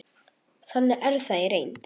Þannig er það í reynd.